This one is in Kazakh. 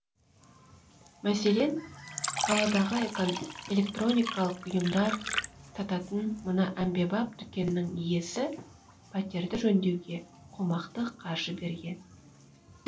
мәселен қаладағы электроникалық бұйымдар сататын мына әмбебап дүкеннің иесі пәтерді жөндеуге қомақты қаржы берген